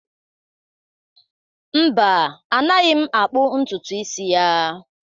Mba, anaghị m akpu ntutu isi ya.